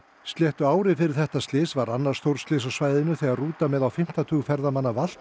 sléttu ári fyrir þetta slys varð annað stórslys á svæðinu þegar rúta með á fimmta tug ferðamanna valt